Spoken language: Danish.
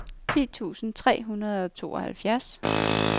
ti tusind tre hundrede og tooghalvfjerds